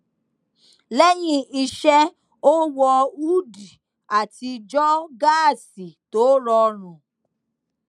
lẹyìn iṣẹ ó wọ húdì àti jogásì tó rọrùn